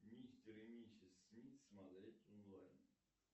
мистер и миссис смит смотреть онлайн